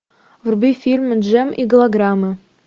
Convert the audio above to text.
вруби фильм джем и голограммы